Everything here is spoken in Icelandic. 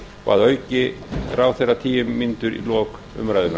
og að auki fær ráðherra tíu mínútur í lok umræðunnar